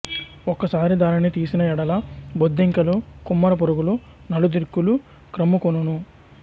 ఒక్కసారి దానిని తీసిన యెడల బొద్దింకలు కుమ్మర పురుగులు నలుద్రిక్కుల క్రమ్ముకొనును